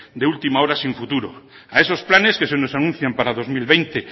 de última hora sin futuro a esos planes que se nos anuncian para dos mil veinte